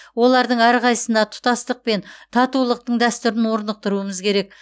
олардың әрқайсысына тұтастық пен татулықтың дәстүрін орнықтыруымыз керек